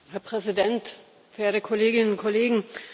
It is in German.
Herr Präsident, verehrte Kolleginnen und Kollegen!